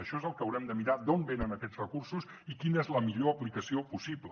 això és el que haurem de mirar d’on venen aquests recursos i quina és la millor aplicació possible